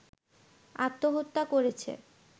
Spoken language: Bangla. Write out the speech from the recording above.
আত্মহত্যা করেছে